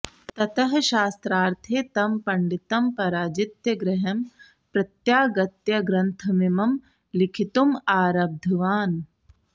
ततः शास्त्रार्थे तं पण्डितं पराजित्य गृहं प्रत्यागत्य ग्रन्थमिमं लिखितुमारब्धवान्